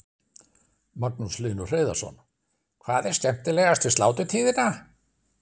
Magnús Hlynur Hreiðarsson: Hvað er skemmtilegast við sláturtíðina?